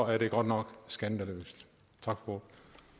er det godt nok skandaløst tak for